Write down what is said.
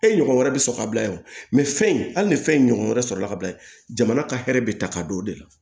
E ɲɔgɔn wɛrɛ bɛ sɔrɔ ka bila yen fɛn in hali ni fɛn in ɲɔgɔn wɛrɛ sɔrɔla ka bila yen jamana ka hɛrɛ bɛ ta ka don o de la